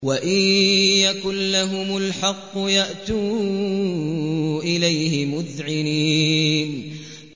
وَإِن يَكُن لَّهُمُ الْحَقُّ يَأْتُوا إِلَيْهِ مُذْعِنِينَ